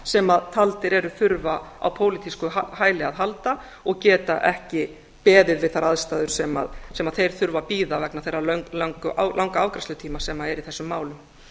sem taldir eru þurfa á pólitísku hæli að halda og geta ekki beðið við þær aðstæður sem þeir þurfa að bíða vegna þess langa afgreiðslutíma sem er í þessum málum